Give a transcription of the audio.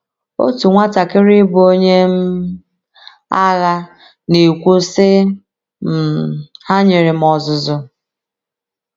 Otu nwatakịrị bụ́ onye um agha na - ekwu, sị: “ um Ha nyere m ọzụzụ.